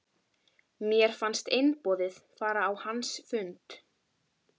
Mér fannst einboðið að fara á hans fund.